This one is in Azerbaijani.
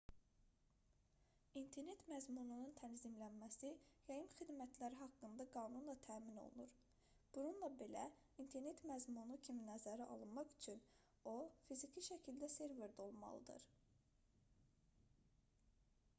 i̇nternet məzmununun tənzimlənməsi yayım xidmətləri haqqında qanunla təmin olunur bununla belə i̇nternet məzmunu kimi nəzərə alınmaq üçün o fiziki şəkildə serverdə olmalıdır